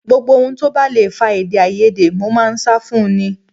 Gbogbo ohun tó bá le fa èdèàìyedè mo máa ń sá fún un ní